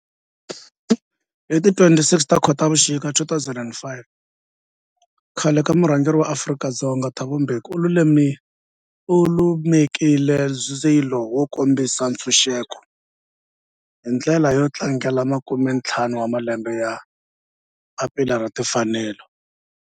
Hi ti 26 Khotavuxika 2005 khale ka murhangeri wa Afrika-Dzonga Thabo Mbeki u lumekile ndzilo wo kombisa ntshuxeko, hi ndlela yo tlangela makume-ntlhanu wa malembe ya papila ra timfanelo, Freedom Charter.